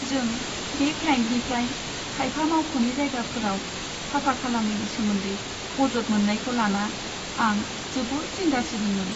जों बे क्लाइन्टनिफ्राय खायफा मावख'नि जायगाफोराव साफा खालामैनि सोमोन्दै अजद मोन्नायखौ लाना आं जोबोद जिंगा सिदोंमोन।